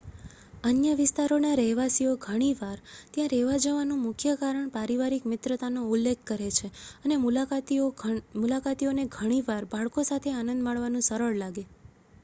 અન્ય વિસ્તારોના રહેવાસીઓ ઘણી વાર ત્યાં રહેવા જવા નું મુખ્ય કારણ પારિવારિક મિત્રતાનો ઉલ્લેખ કરે છે અને મુલાકાતીઓ ને ઘણી વાર બાળકો સાથે આનંદ માણવાનું સરળ લાગે